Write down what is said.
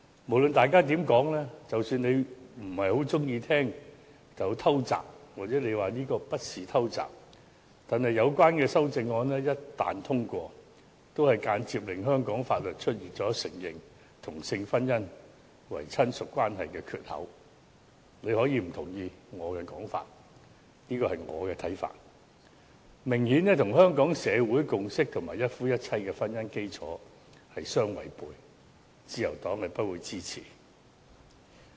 無論大家怎麼說，即使你不太喜歡被指是"偷襲"，或你說這不是"偷襲"，有關修正案一旦獲得通過，也會間接令香港法律出現承認同性婚姻為"親屬"的缺口——你可以不認同我的說法，但這是我的看法——這明顯與香港社會的共識及一夫一妻的婚姻基礎相違背，而自由黨不會支持。